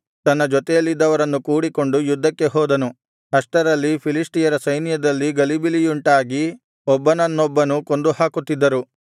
ತನ್ನ ಜೊತೆಯಲ್ಲಿದ್ದವರನ್ನು ಕೂಡಿಕೊಂಡು ಯುದ್ಧಕ್ಕೆ ಹೋದನು ಅಷ್ಟರಲ್ಲಿ ಫಿಲಿಷ್ಟಿಯರ ಸೈನ್ಯದಲ್ಲಿ ಗಲಿಬಿಲಿಯುಂಟಾಗಿ ಒಬ್ಬನನ್ನೊಬ್ಬನು ಕೊಂದುಹಾಕುತ್ತಿದ್ದರು